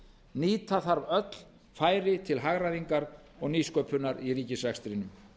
nýta þarf öll færi til hagræðingar og nýsköpunar í ríkisrekstrinum